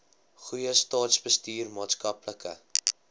goeie staatsbestuur maatskaplike